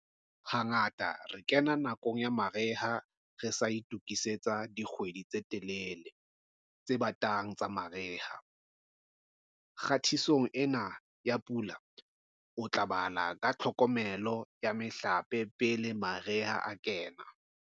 Hangata re kena nakong ya mariha re sa itokisetsa dikgwedi tse telele, tse batang tsa mariha. Kgatisong ena ya Pula o tla bala ka tlhokomelo ya mehlape pele mariha a kena.